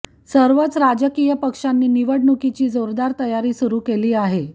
सर्वच राजकीय पक्षांनी निवडणुकीची जोरदार तयारी सुरु केली आहे